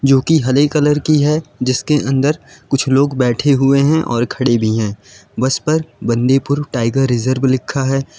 जोकि हरे कलर की है जिसके अंदर कुछ लोग बैठे हुए हैं और खड़े भी हैं बस पर बंदीपुर टाइगर रिजर्व लिखा है।